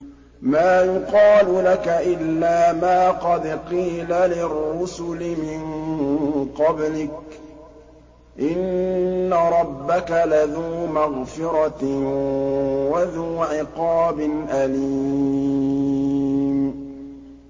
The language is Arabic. مَّا يُقَالُ لَكَ إِلَّا مَا قَدْ قِيلَ لِلرُّسُلِ مِن قَبْلِكَ ۚ إِنَّ رَبَّكَ لَذُو مَغْفِرَةٍ وَذُو عِقَابٍ أَلِيمٍ